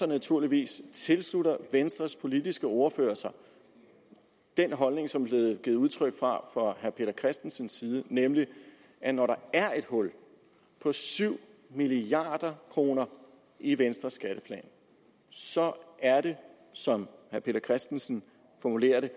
naturligvis tilslutter venstres politiske ordfører sig den holdning som blevet givet udtryk for af herre peter christensen nemlig at når der er et hul på syv milliard kroner i venstres skatteplan så er det som herre peter christensen formulerer det